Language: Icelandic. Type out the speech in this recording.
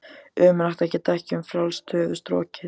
Ömurlegt að geta ekki um frjálst höfuð strokið.